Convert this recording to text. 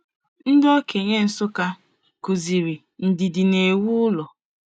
Ndị okenye Nsukka kuziri, Ndidi na-ewu ụlọ.